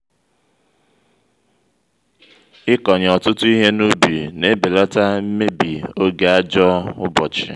ị́kọṅye ọtụtụ ihe n'ubi n'ebelata mmebi oge ajọ ụbọchị